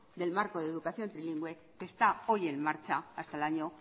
del marco de la educación trilingüe que está hoy en marcha hasta el año